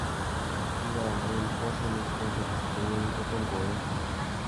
Kigoyaam anyun piasinik eng' peetuusyek che ng'ering' kotom koyum.